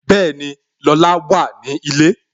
Bẹẹni, Lola wà ní ilé